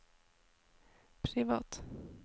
privat